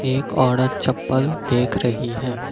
एक औरत चप्पल देख रही है।